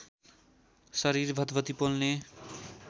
शरीर भतभती पोल्ने